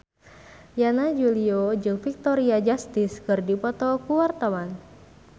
Yana Julio jeung Victoria Justice keur dipoto ku wartawan